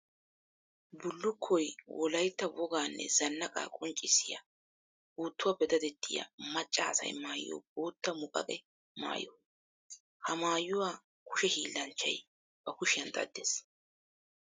Bullukkoy wolaytta woganne zanaqaa qonccissiya puutuwappe daddettiya maca asay maayiyo bootta muqaqe maayo. Ha maayuwa kushe hiillanchchay ba kushiyan daddes.